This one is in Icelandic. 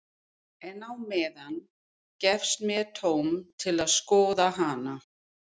En á meðan gefst mér tóm til að skoða hana.